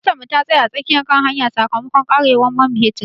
Motar mu ta tsaya a tsakiyar hanya sakamakon karewar man fetur.